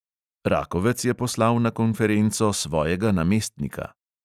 Rakovec je poslal na konferenco svojega namestnika.